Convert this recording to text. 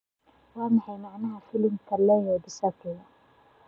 waa maxay macnaha magaca filimka leo dicaprio